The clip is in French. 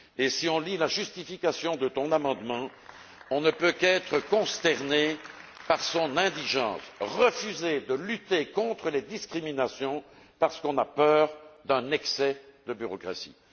Si on lit la justification de ton amendement, on ne peut qu'être consterné par son indigence refuser de lutter contre les discriminations parce qu'on a peur d'un excès de bureaucratie.